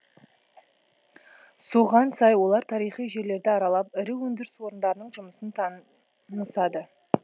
соған сай олар тарихи жерлерді аралап ірі өндіріс орындарының жұмысын тан нысады